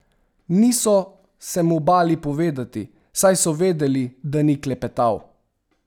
Niso se mu bali povedati, saj so vedeli, da ni klepetav.